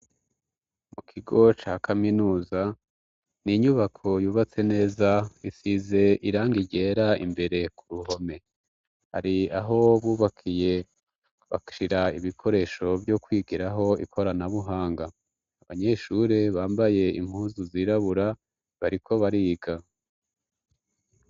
Mu kigo ca kaminuza, ni inyubako yubatse neza isize irangi ryera imbere ku ruhome, hari aho bubakiye bashira ibikoresho vyo kwigiraho ikoranabuhanga, abanyeshure bambaye impuzu zirabura bariko bariga.